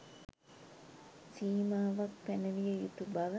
සීමාවක් පැනවිය යුතු බව